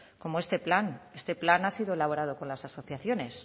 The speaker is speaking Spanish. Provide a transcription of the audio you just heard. como este plan este plan ha sido elaborado con las asociaciones